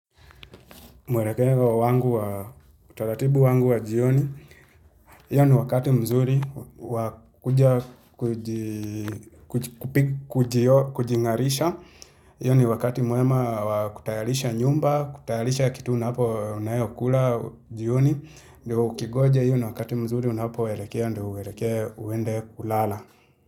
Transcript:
Mwelekeo wangu wa utaratibu wangu wa jioni, hiyo ni wakati mzuri wa kuja kujingarisha, iyo ni wakati muema wa kutayalisha nyumba, kutayalisha kitu unapo unayo kula jioni, ndio ukingoja hiyo ni wakati mzuri unapoelekea, ndo uelekee uende kulala.